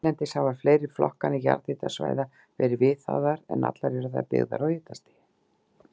Erlendis hafa fleiri flokkanir jarðhitasvæða verið viðhafðar, en allar eru þær byggðar á hitastigi.